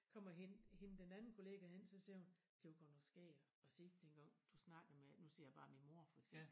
Kommer hende hende den anden kollega hen så siger hun det var godt nok skægt at se dengang du snakkede med nu siger jeg bare min mor for eksempel